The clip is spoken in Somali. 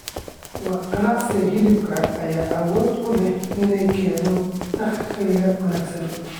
Ganacsiga hilibka ayaa awood u leh inuu keeno dakhli wanaagsan.